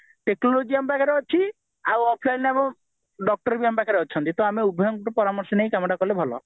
ତ ଆମ technology ଆମ ପାଖରେ ଅଛି ଆଉ offlineରେ doctor ବି ଆମ ପାଖରେ ଅଛନ୍ତି ତ ଆମେ ଉଭୟଙ୍କ ଠୁ ପରାମର୍ଶ ନେଇ କାମ ତ କଲେ ଭଲ